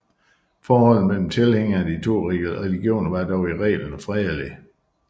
Forholdet mellem tilhængerne af de to religioner var dog i reglen fredeligt